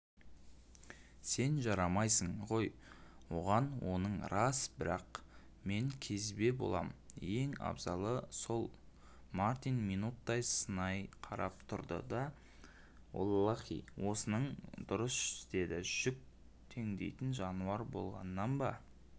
сен жарамайсың ғой оғаноның рас бірақ мен кезбе болам ең абзалы солмартин минуттай сынай қарап тұрды да оллаһи осының дұрыс дедіжүк теңдейтін жануар болғаннан да